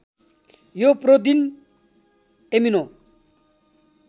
यो protein amino